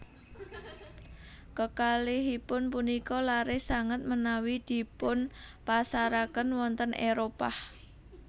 Kekalihipun punika laris sanget menawi dipunpasaraken wonten Éropah